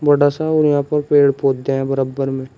थोड़ा सा और यहां पर पेड़ पौधे हैं बरब्बर में--